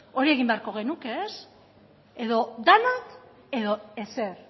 hori egin beharko genuke edo denak edo ezer